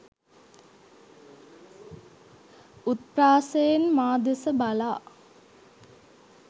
උත්ප්‍රාසයෙන් මා දෙස බලා